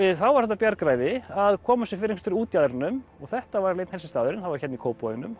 þá var þetta bjargræði að koma sér fyrir einhvers staðar útjaðrinum og þetta var einn helsti staðurinn það var hérna í Kópavoginum